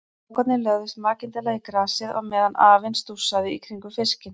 Strákarnir lögðust makindalega í grasið á meðan afinn stússaði í kringum fiskinn.